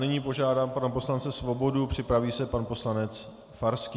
Nyní požádám pana poslance Svobodu, připraví se pan poslanec Farský.